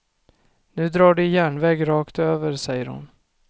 Nu drar de järnväg rakt över, säger hon.